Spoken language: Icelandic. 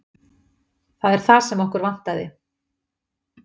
Það er það sem okkur vantaði.